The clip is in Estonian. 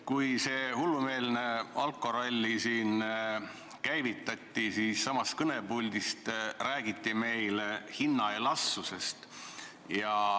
Kui see hullumeelne alkoralli siin käivitati, siis siitsamast kõnepuldist räägiti meile hinna elastsusest.